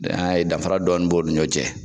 NI an ya ye danfara dɔɔni b'o ni ɲɔ cɛ